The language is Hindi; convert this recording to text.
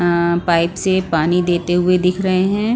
अ पाइप से पानी देते हुए दिख रहे हैं।